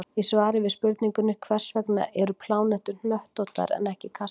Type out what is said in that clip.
Í svari við spurningunni Hvers vegna eru plánetur hnöttóttar en ekki kassalaga?